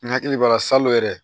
N hakili b'a la salon yɛrɛ